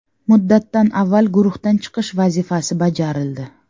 Muddatdan avval guruhdan chiqish vazifasi bajarildi.